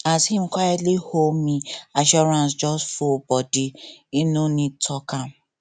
as him quitely hold me assurance just full body him no need talk am